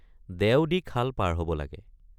দেও দি খাল পাৰ হব লাগে।